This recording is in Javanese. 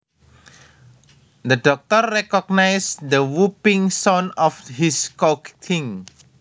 The doctor recognised the whooping sound of his coughing